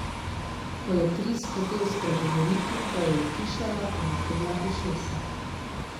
Ko je Tris hotel spregovoriti, ga je utišala in napela ušesa.